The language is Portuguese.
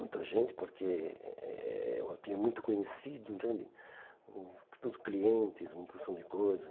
Muita gente, porque eh eu tinha muito conhecido, entende, tudo clientes, uma porção de coisa.